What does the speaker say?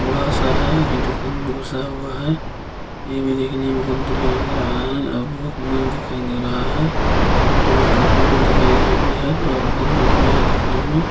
बूढ़ा सा है ये दुकान में घुसा हुआ है ये देखने में बहुत बढ़िया लग रहा है बहुत उमर दिखाई दे रहा है और ये टोपी भी लगाई हुई है और बहुत बढ़िया है दिखने में।